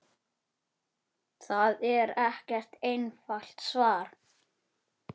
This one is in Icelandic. Það er ekkert einfalt svar.